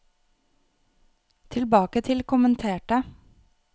tilbake til kommenterte